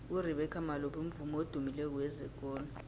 urebeca malope mvumi odumileko wezekolo